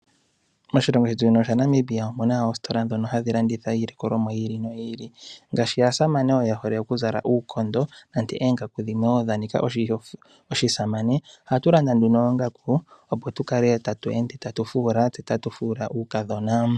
Moshilongo shetu shino sha Namibia omuna oositola ndhono ha dhi landitha iilikolomwa yi ili. Ngaashi aasamane, ye hole oku zala uukondo, nenge oongaku dhimwe dha nika oshi samane, oha tu landa nduno oongaku, opo tu kale ta tu ende ta tu fuula, uukadhona.